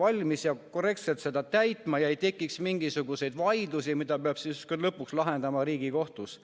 valmis korrektselt seda täitma ega tekiks mingisuguseid vaidlusi, mida peab lõpuks lahendama Riigikohtus.